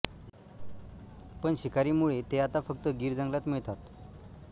पण शिकारीमुळे ते आता फक्त गीर जंगलात मिळतात